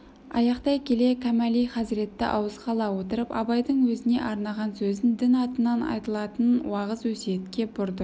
аяқтай келе кәмәли хазіретті ауызға ала отырып абайдың өзіне арнаған сөзін дін атынан айтылатын уағыз өсиетке бұрды